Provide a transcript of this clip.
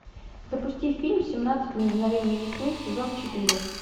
запусти фильм семнадцать мгновений весны сезон четыре